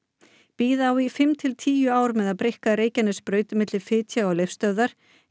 bíða á í fimm til tíu ár með að breikka Reykjanesbraut milli fitja og Leifsstöðvar